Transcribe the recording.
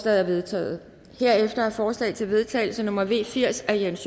er vedtaget herefter er forslag til vedtagelse nummer v firs af jens